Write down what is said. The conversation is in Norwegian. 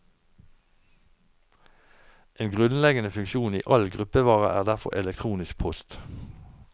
En grunnleggende funksjon i all gruppevare er derfor elektronisk post.